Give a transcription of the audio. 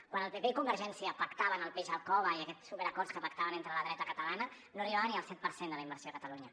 quan el pp i convergència pactaven el peix al cove i aquests superacords que pactaven entre la dreta catalana no arribava ni al set per cent de la inversió a catalunya